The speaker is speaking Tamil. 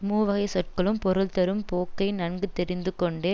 மூவகைச் சொற்களும் பொருள் தரும் போக்கை நன்கு தெரிந்து கொண்ட